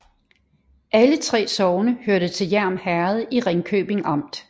Alle 3 sogne hørte til Hjerm Herred i Ringkøbing Amt